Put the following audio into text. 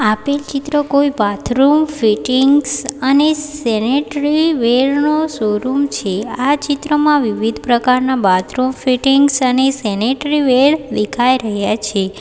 આપેલ ચિત્ર કોઈ બાથરૂમ ફીટીંગ્સ અને સેનેટરી વેર નો શોરૂમ છે આ ચિત્રમાં વિવિધ પ્રકારના બાથરૂમ ફીટીંગ્સ અને સેનેટરી વેર દેખાઈ રહ્યા છે.